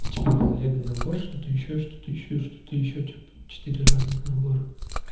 типа был лего набор что-то ещё что-то ещё что-то ещё типа четыре разных набора